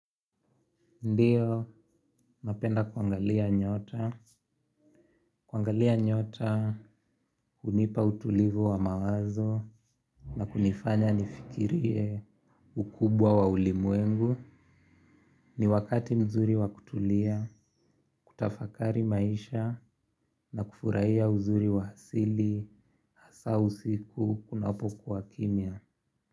Ndiyo, napenda kuangalia nyota. Kuangalia nyota, hunipa utulivu wa mawazo, na kunifanya nifikirie ukubwa wa ulimwengu. Ni wakati mzuri wa kutulia, kutafakari maisha, na kufurahia uzuri wa asili, hasa usiku, kunapokuwa kimya.